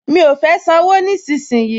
Mi ò fẹ́ sanwó nísinsìnyí